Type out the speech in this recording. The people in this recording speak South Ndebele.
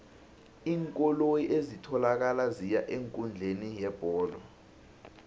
iinkoloyi ezitholakala ziya eenkundleni yebholo